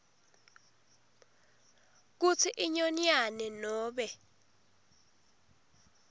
kutsi inyonyane nobe